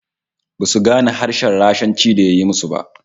Basu gane harshen Rashanci da ya yi ma su ba